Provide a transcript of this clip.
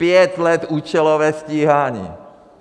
Pět let účelové stíhání.